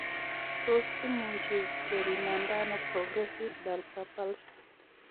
Tos imuchi kepimanda ano progressive bulbar palsy